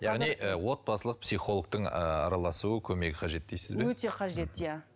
яғни ы отбасылық психологтың ы араласуы көмегі қажет дейсіз бе өте қажет иә